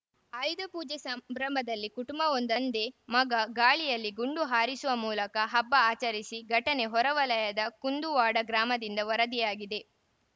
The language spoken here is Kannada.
ಆಯುಧ ಪೂಜೆ ಸಂಭ್ರಮದಲ್ಲಿ ಕುಟುಂಬವೊಂದ ತಂದೆ ಮಗ ಗಾಳಿಯಲ್ಲಿ ಗುಂಡು ಹಾರಿಸುವ ಮೂಲಕ ಹಬ್ಬ ಆಚರಿಸಿ ಘಟನೆ ಹೊರ ವಲಯದ ಕುಂದುವಾಡ ಗ್ರಾಮದಿಂದ ವರದಿಯಾಗಿದೆ